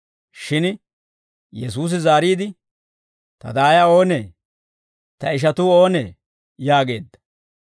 Shin Yesuusi zaariide, «Ta daaya oonee? Ta ishatuu oonee?» yaageedda.